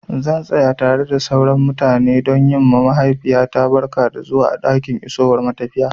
Zan tsaya tare da sauran mutane don yi ma mahaifiyata barka da zuwa a ɗakin isowar matafiya.